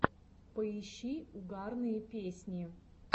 поищи угарные песни